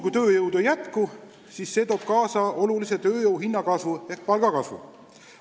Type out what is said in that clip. Kui tööjõudu ei jätku, siis see toob kaasa olulise tööjõuhinna kasvu ehk palgakasvu.